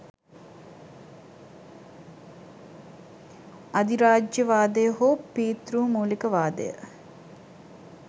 අධිරාජ්‍යවාදය හෝ පීතෘමූලිකවාදය